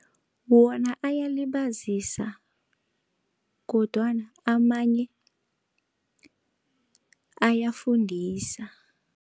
Wona ayalibazisa kodwana amanye ayafundisa.